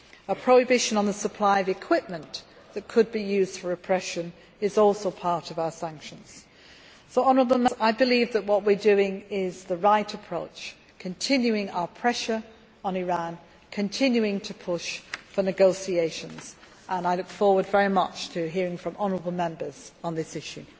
A prohibition on the supply of equipment that could be used for oppression is also part of our sanctions. So I believe that our approach is the right one continuing our pressure on Iran, continuing to push for negotiations and I look forward very much to hearing from honourable Members on this issue.